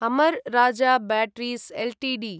अमर् Raja batteries Ltd